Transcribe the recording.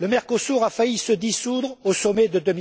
Le Mercosur a failli se dissoudre au Sommet de